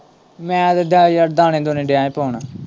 ਮੈਂ ਤੇ ਇੱਦੇ ਯਾਰ ਦਾਣੇ-ਦੂਣੇ ਦਿਆਂ ਭੁੰਨ।